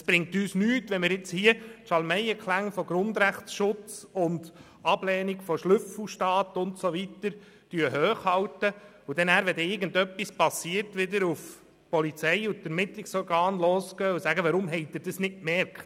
Es bringt uns nichts, wenn wir Schalmeienklängen von «Grundrechtsschutz», «Ablehnung von Schnüffelstaat» und so weiter folgen und dafür, sobald etwas passiert, auf Polizei und Ermittlungsorgane losgehen und ihnen vorwerfen, sie hätten nichts gemerkt.